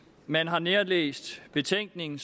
man har nærlæst betænkningen